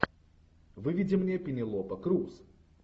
выведи мне пенелопа крус